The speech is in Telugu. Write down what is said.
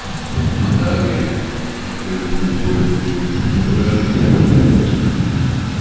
అలాగే అక్కడున్న గోడకు మొలాచి--